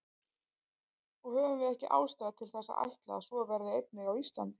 Og höfum við ekki ástæðu til þess að ætla að svo verði einnig á Íslandi?